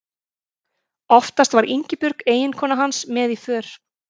Oftast var Ingibjörg eiginkona hans með í för.